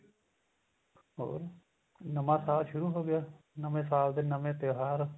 ਹੋਰ ਨਵਾਂ ਸਾਲ ਸ਼ੁਰੂ ਹੋ ਗਿਆ ਨਵੇਂ ਸਾਲ ਦੇ ਨਵੇਂ ਤਿਉਹਾਰ